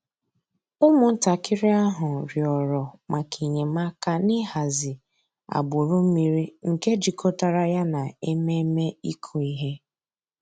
Ụ́mụ̀ntàkìrì àhụ̀ rị̀ọrọ̀ mǎká enyèmàkà n'ị̀hàzì àgbùrù mmìrì nke jìkọ̀tàrà yà nà emèmé́ ị̀kụ̀ íhè.